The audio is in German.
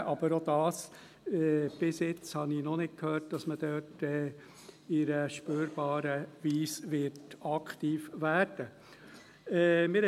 Aber auch hier: Bisher habe ich noch nicht gehört, dass man da in einer spürbaren Weise aktiv werden wird.